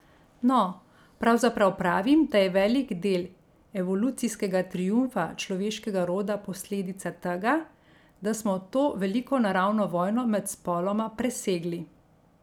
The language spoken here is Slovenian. No, pravzaprav pravim, da je velik del evolucijskega triumfa človeškega roda posledica tega, da smo to veliko naravno vojno med spoloma presegli.